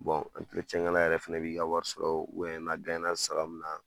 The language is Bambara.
yɛrɛ fɛnɛ bi ka wari sɔrɔ n'aw sara min na